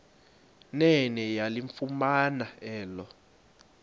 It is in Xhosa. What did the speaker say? nene yalifumana elo